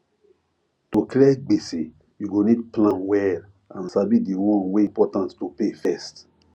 to clear gbese you go need plan well and sabi di one wey important to pay first